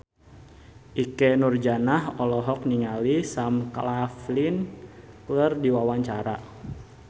Ikke Nurjanah olohok ningali Sam Claflin keur diwawancara